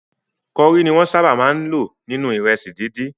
Kori ni wọ́n sábà máa ń lò nínú ìrẹsì dídì.